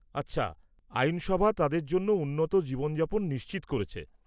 -আচ্ছা, আইনসভা তাদের জন্য উন্নত জীবনযাপন নিশ্চিত করেছে।